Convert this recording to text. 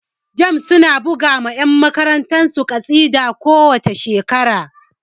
Jamb su na buga ma yan takarar su ƙasida ko wace shekara